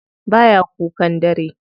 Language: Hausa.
Baya kukan dare kullum.